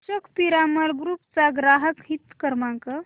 Ashok Piramal group चा ग्राहक हित क्रमांक